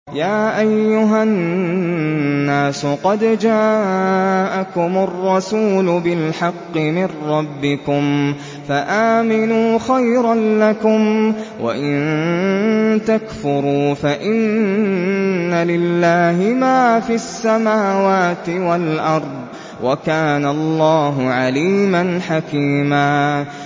يَا أَيُّهَا النَّاسُ قَدْ جَاءَكُمُ الرَّسُولُ بِالْحَقِّ مِن رَّبِّكُمْ فَآمِنُوا خَيْرًا لَّكُمْ ۚ وَإِن تَكْفُرُوا فَإِنَّ لِلَّهِ مَا فِي السَّمَاوَاتِ وَالْأَرْضِ ۚ وَكَانَ اللَّهُ عَلِيمًا حَكِيمًا